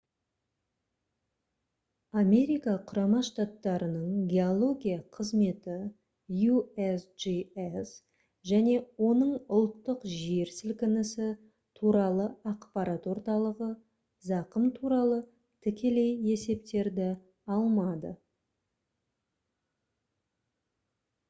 америка құрама штаттарының геология қызметі usgs және оның ұлттық жер сілкінісі туралы ақпарат орталығы зақым туралы тікелей есептерді алмады